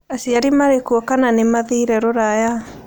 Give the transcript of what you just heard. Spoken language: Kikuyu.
Aciari marĩkuo kana nĩmathire rũraya?